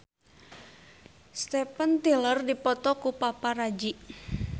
Steven Tyler dipoto ku paparazi